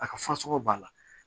A ka fasɔgɔ b'a la